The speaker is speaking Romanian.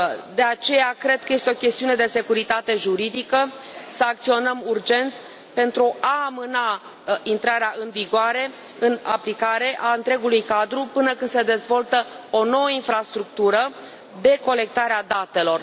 De aceea, cred că este o chestiune de securitate juridică să acționăm urgent pentru a amâna intrarea în vigoare, în aplicare, a întregului cadru, până când se dezvoltă o nouă infrastructură de colectare a datelor.